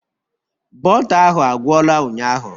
Bọta ahụ agwụla ụnyahụ